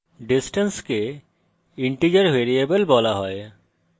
distance the integer variable বলা হয়